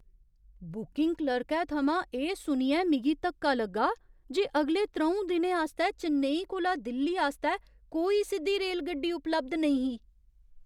Booking क्लर्कै थमां एह् सुनियै मिगी धक्का लग्गा जे अगले त्र'ऊं दिनें आस्तै चेन्नई कोला दिल्ली आस्तै कोई सिद्धी रेलगड्डी उपलब्ध नेईं ही।